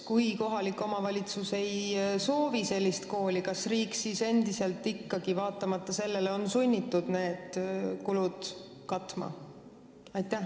Kui kohalik omavalitsus ei soovi sellist kooli, siis kas riik on vaatamata sellele ikkagi sunnitud need kulud katma?